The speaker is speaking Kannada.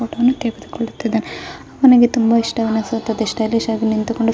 ಅವನಿಗೆ ತುಂಬಾ ಇಷ್ಟವೆನಿಸುತ್ತದೆ ಸ್ಟೈಲಿಶಾಗಿ ನಿಂತುಕೊಂಡು --